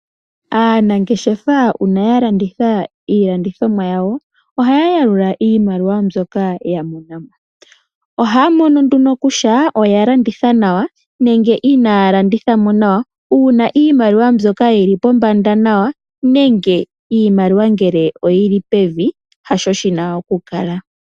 Aanangeshefa uuna ya landitha iilandithomwa yawo, ohaya yalula iimaliwa mbyoka ya mona mo. Ohaya mono nduno kutya ota landitha nawa nenge inaya landitha nawa, uuna iimaliwa mbyoka yi li pombanda nawa nenge iimaliwa ngele oyi li pevi haasho yi na oku kala.